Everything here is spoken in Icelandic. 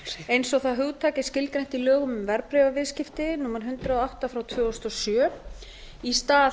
eins og það hugtak er skilgreint í lögum um verðbréfaviðskipti númer hundrað og átta tvö þúsund og átta í stað